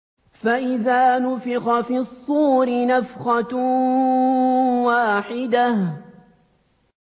فَإِذَا نُفِخَ فِي الصُّورِ نَفْخَةٌ وَاحِدَةٌ